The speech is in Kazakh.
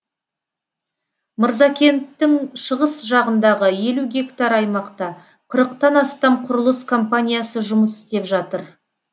мырзакенттің шығыс жағындағы елу гектар аймақта қырықтан астам құрылыс компаниясы жұмыс істеп жатыр